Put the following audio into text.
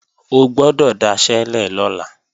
O gbọ́dọ̀ daṣẹ́lẹ̀ lọ́la!